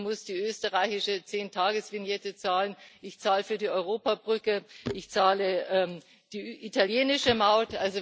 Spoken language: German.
Ich muss die österreichische Zehn Tages Vignette zahlen, ich zahle für die Europabrücke, ich zahle die italienische Maut.